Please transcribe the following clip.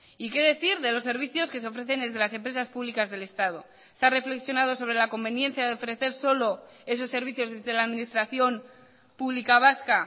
y qué decir de los servicios que se ofrecen desde las empresas públicas del estado se ha reflexionado sobre la conveniencia de ofrecer solo esos servicios desde la administración pública vasca